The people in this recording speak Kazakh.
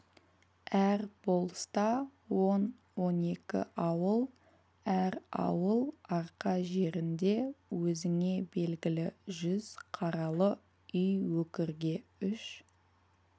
әр болыста он-он екі ауыл әр ауыл арқа жерінде өзіңе белгілі жүз қаралы үй өкірге үш